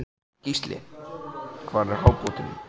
Gísli: Hver var hápunkturinn?